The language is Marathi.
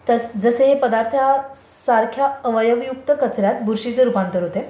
जसे हे पदार्थ सारख्या अवयवयुक्त कचर् यात बुरशीचे रूपांतर होते.